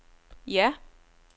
ja